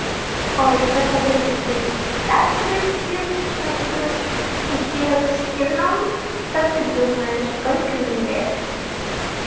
ой ну такой даже неприлично спрашивать как бы у девочки но как ты думаешь сколько мне лет